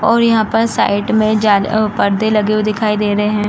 और यहां पर साइड में जाले ओ पर्दे लगे हुए दिखाई दे रहे हैं।